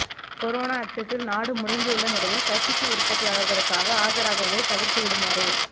corona அச்சத்தில் நாடு முடங்கியுள்ள நிலையில் கசிப்பு உற்பத்தியாளர்களுக்காக ஆஜராகுவதை தவிர்த்திடுமாறு